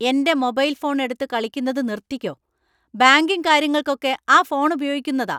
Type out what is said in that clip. എന്‍റെ mobile phone എടുത്ത് കളിക്കുന്നത് നിർത്തിക്കോ. ബാങ്കിങ് കാര്യങ്ങൾക്കു ഒക്കെ ആ ഫോൺ ഉപയോഗിക്കുന്നതാ .